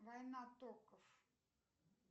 война токов